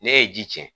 Ne ye ji cɛn